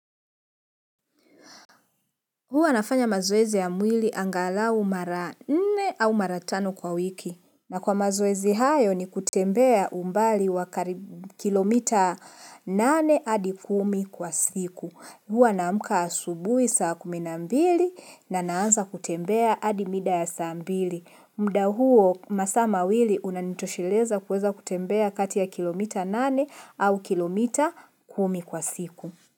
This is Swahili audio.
Huwa nafanya mazoezi ya mwili angalau mara nne au mara tano kwa wiki. Na kwa mazoezi hayo ni kutembea umbali wa karibu kilomita nane adi kumi kwa siku. Huwa naamuka asubui saa kumi na mbili na naanza kutembea adi mida ya saa mbili. Mda huo masaa mawili unanitosheleza kuweza kutembea kati ya kilomita nane au kilomita kumi kwa siku.